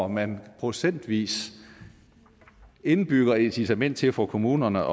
man procentvis indbygger et incitament til for kommunerne